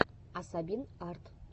асабин арт